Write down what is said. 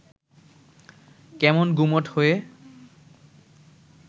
কেমন গুমোট হয়ে